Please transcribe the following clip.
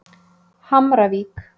Hamravík